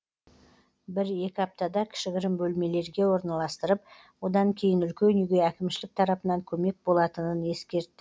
бір екі аптада кішігірім бөлмелерге орналастырып одан кейін үлкен үйге әкімшілік тарапынан көмек болатынын ескертті